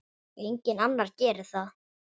Enginn annar gerir það.